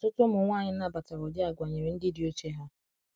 ọtụtụ ụmụ nwanyi nnabatara ụdi agwa nyere ndi di oche ha